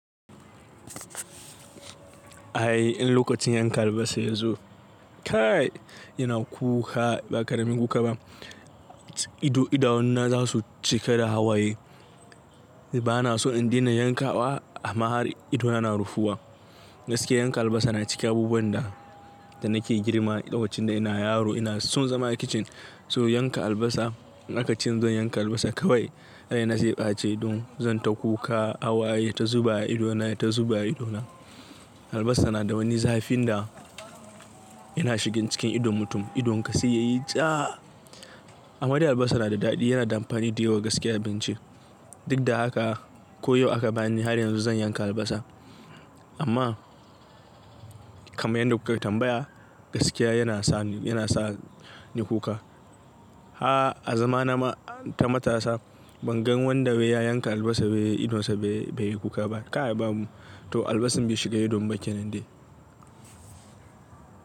Ai in lokacin yanka albasa ya zo, kai yana kuka ba ƙaramin kuka ba. Ido, idanuna za su cika da hawaye. Ba na so in daina yankawa amma har ido yana rufuwa. Gaskiya yanka albasa na cikin abubuwan da, da nake girma lokacin da ina yaro ina son zama a kicin. So yanka albasa in aka ce zan yanka albasa kawai, rai na zai ɓace don zan ta kuka hawaye yata zuba a idona, yata zuba a idona. Albasa na da wani zafin da yana shigan cikin idon mutum. Idonka sai yayi jaa. Amma dai albasa na da daɗi yana da amfani da yawa gaskiya a abinci. Duk da haka ko yau aka bani har yanzu zan yanka albasa. Amma kaman yanda kuka tambaya gaskiya yana sa ni, yana sa ni kuka. Aah a zamana ma, ta matasa ban gan wanda wai ya yanka albasa wai idonsa bai, bai yi kuka ba. Kai babu to albasan bai shiga idon ba kenan dai.